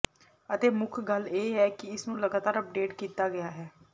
ਅਤੇ ਮੁੱਖ ਗੱਲ ਇਹ ਹੈ ਕਿ ਇਸ ਨੂੰ ਲਗਾਤਾਰ ਅੱਪਡੇਟ ਕੀਤਾ ਗਿਆ ਹੈ